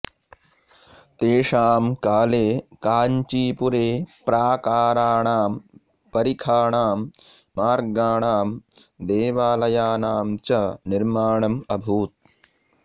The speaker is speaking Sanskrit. तेषां काले काञ्चिपुरे प्राकाराणां परिखाणां मार्गाणां देवालयानां च निर्माणम् अभूत्